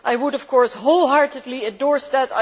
I would, of course, wholeheartedly endorse that